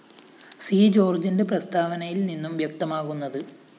C ജോര്‍ജിന്റെ പ്രസ്താവനയില്‍ നിന്നും വ്യക്തമാകുന്നത്